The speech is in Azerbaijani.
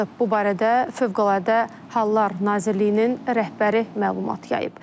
Bu barədə Fövqəladə Hallar Nazirliyinin rəhbəri məlumat yayıb.